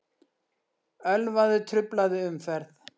Ölvaður truflaði umferð